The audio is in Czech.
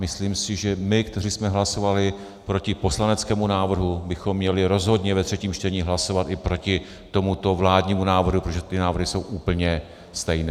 Myslím si, že my, kteří jsme hlasovali proti poslaneckému návrhu, bychom měli rozhodně ve třetím čtení hlasovat i proti tomuto vládnímu návrhu, protože ty návrhy jsou úplně stejné.